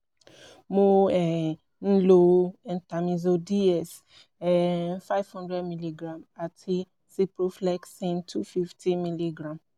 mo um ń lo entamizole d-s um five hundred milligram àti ciproflexin two fifty milligram